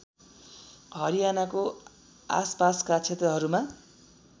हरियानाको आसपासका क्षेत्रहरूमा